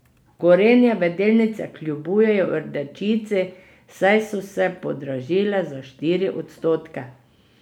Gorenjeve delnice kljubujejo rdečici, saj so se podražile za štiri odstotke.